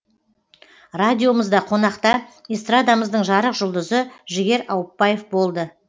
радиомызда қонақта эстрадамыздың жарық жұлдызы жігер ауыпбаев болды